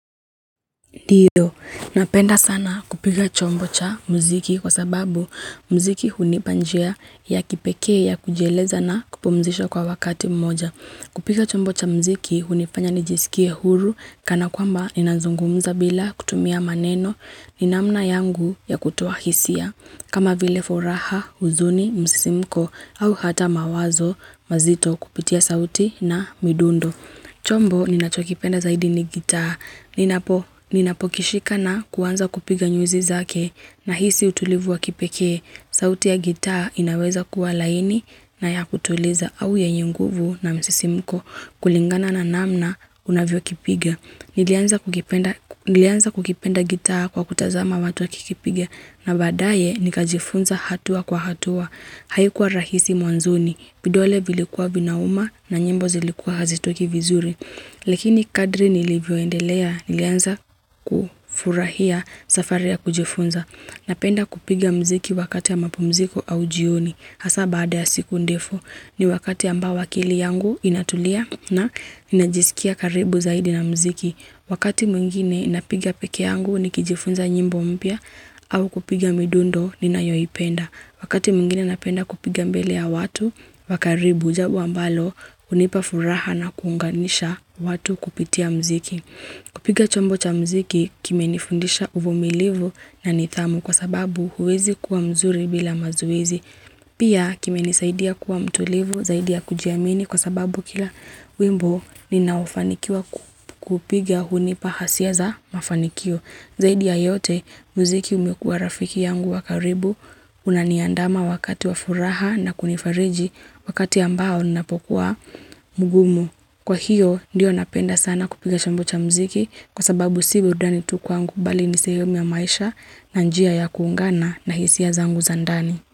Ndio, napenda sana kupiga chombo cha mziki kwa sababu mziki hunipa njia ya kipekee ya kujieleza na kupumzisha kwa wakati mmoja. Kupiga chombo cha mziki hunifanya nijisikie huru kana kwamba ninazungumza bila kutumia maneno, ni namna yangu ya kutoa hisia. Kama vile furaha, huzuni, msisimuko au hata mawazo, mazito kupitia sauti na midundo. Chombo ninachokipenda zaidi ni gitaa. Ninapo kishika na kuwanza kupiga nyuzi zake nahisi utulivu wa kipeke. Sauti ya gitaa inaweza kuwa laini na ya kutuliza au yenye nguvu na msisimuko kulingana na namna unavyo kipiga. Nilianza kukipenda gitaa kwa kutazama watu wa kikipigia na baadaye nikajifunza hatua kwa hatua. Haikua rahisi mwanzoni, vidole vilikuwa vinauma na nyimbo zilikua hazitoki vizuri. Lakini kadri nilivyoendelea nilianza kufurahia safari ya kujifunza. Napenda kupiga mziki wakati wa mapumziko au jioni. Hasa baada ya siku ndefu ni wakati ambao akili yangu inatulia na ninajisikia karibu zaidi na mziki. Wakati mwingine inapiga peke yangu nikijifunza nyimbo mpya au kupiga midundo ninayoipenda. Wakati mwingine napenda kupiga mbele ya watu, wa karibu jambo ambalo unipa furaha na kuunganisha watu kupitia mziki. Kupiga chombo cha mziki kimenifundisha uvumilivu na nithamu kwa sababu huwezi kuwa mzuri bila mazoezi. Pia kimenisaidia kuwa mtulivu, zaidia kujiamini kwa sababu kila wimbo ninaofanikiwa kupiga hunipa hasia za mafanikio. Zaidi ya yote, muziki umekuwa rafiki yangu wa karibu, una niandama wakati wa furaha na kunifariji wakati ambao napokuwa mugumu. Kwa hiyo, ndio napenda sana kupiga chambo cha muziki kwa sababu si burudani tu kwangu bali ni sehemu ya maisha na njia ya kuungana na hisia zangu za ndani.